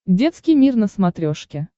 детский мир на смотрешке